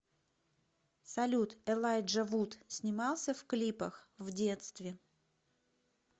салют элайджа вуд снимался в клипах в детстве